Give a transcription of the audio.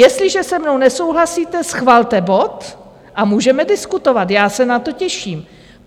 Jestliže se mnou nesouhlasíte, schvalte bod a můžeme diskutovat, já se na to těším.